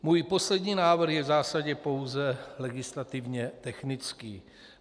Můj poslední návrh je v zásadě pouze legislativně technický.